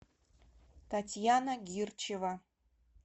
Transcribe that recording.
татьяна гирчева